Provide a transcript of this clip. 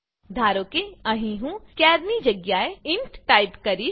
ધારો કે અહીં હું ચાર ની જગ્યાએ ઇન્ટ ટાઈપ કરીશ